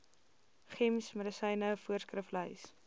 gems medisyne voorskriflys